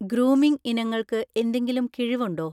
Grooming ഇനങ്ങൾക്ക് എന്തെങ്കിലും കിഴിവ് ഉണ്ടോ?